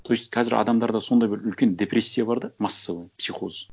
то есть қазір адамдарда сондай бір үлкен депрессия бар да массовый психоз